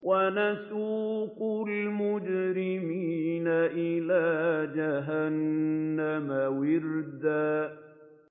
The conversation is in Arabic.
وَنَسُوقُ الْمُجْرِمِينَ إِلَىٰ جَهَنَّمَ وِرْدًا